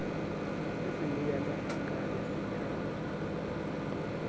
se senyenyane ha kale setla